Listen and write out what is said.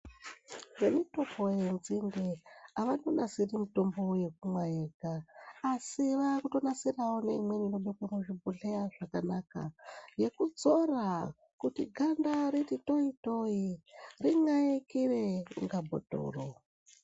Vemitupo yenzinde avandonasiri mitombo yekumwa yega asi vakutonasirawo neimweni inobva kuzvibhodhleya zvakanaka yekudzora kuti ganda riti toi toi rinxaikire kunga bhothoro.